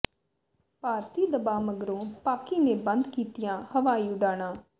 ਭਾਰਤੀ ਦਬਾਅ ਮਗਰੋਂ ਪਾਕਿ ਨੇ ਬੰਦ ਕੀਤੀਆਂ ਹਵਾਈ ਉਡਾਣਾਂ